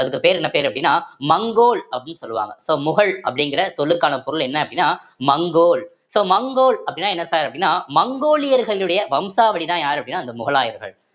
அதுக்கு பேர் என்ன பேரு அப்படின்னா மங்கோல் அப்படி சொல்லுவாங்க so முகல் அப்படிங்கிற சொல்லுக்கான பொருள் என்ன அப்படின்னா மங்கோல் so மங்கோல் அப்படின்னா என்ன sir அப்படின்னா மங்கோலியர்களுடைய வம்சாவழிதான் யாரு அப்படின்னா அந்த முகலாயர்கள்